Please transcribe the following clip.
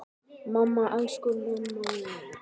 Mamma, elsku mamma mín.